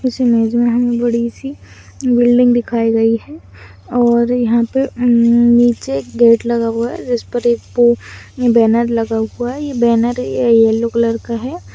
इस इमेज में हमें बड़ी सी बिल्डिंग दिखाई गई है और यहाँ पर उम्म्म् नीचे एक गेट लगा हुआ है जिसपे एक बैनर लगा हुआ है। यहँ बैनर या ये येलो कलर का है।